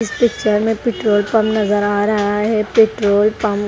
इस पिक्चर में petrol pump नजर आ रहा है पेट्रोलपंप --